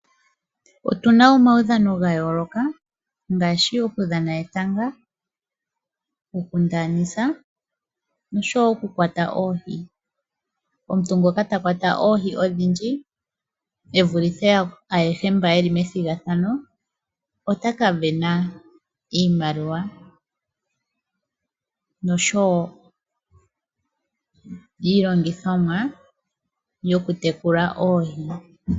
Otuna omaudhano ga yooloka ngaashi oku dhana etanga, oku ndaanisa nosho woo oku kwata oohi. Omuntu ngono ta kwata oohi odhindji ,e vulithe yakwawo ayehe mbono yeli methigathano ,otaka vena iimaliwa nosho woo iilongithomwa yoku tekula oohi.